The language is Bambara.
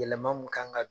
Yɛlɛma mun kan ka don